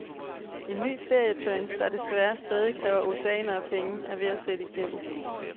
En ny ferietrend, der desværre stadig kræver oceaner af penge, er ved at sætte igennem.